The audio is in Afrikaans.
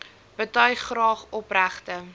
betuig graag opregte